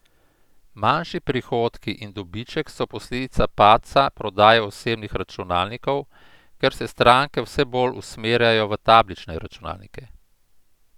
Manjši prihodki in dobiček so posledica padca prodaje osebnih računalnikov, ker se stranke vse bolj usmerjajo v tablične računalnike.